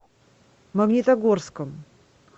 магнитогорском